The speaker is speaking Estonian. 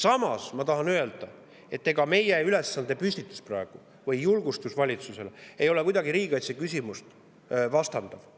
Samas tahan öelda, et ega meie ülesandepüstitus praegu või julgustus valitsusele ei ole kuidagi riigikaitseküsimusele vastanduv.